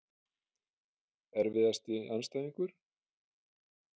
Erfiðasti andstæðingur?